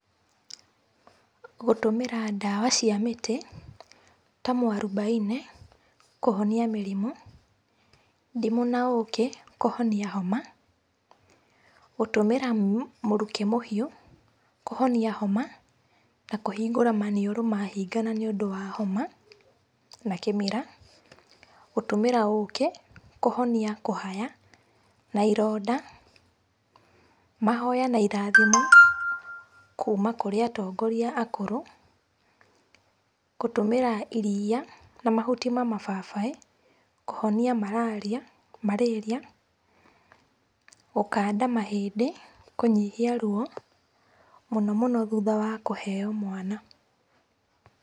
Gũtũmĩra ndawa cia mĩtĩ ta mũarubaine kũhonia mĩrĩmũ. Ndimũ na ũkĩ kũhonia homa, gũtũmĩra mũruki mũhiu kũhonia homa na kũhingũra manĩũrũ mahingana nĩ ũndũ wa homa na kĩmira. Gũtũmĩra ũkĩ kũhonia kũhaya na ĩronda. Mahoya na ĩrathimo kuma kũrĩ atongoria akũrũ. Gũtũmĩra iria, na mahuti ma mababaĩ kũhonia marĩria. Gũkanda mahĩndĩ kũnyihia ruo, mũno mũno thũtha wa kũheo mwana.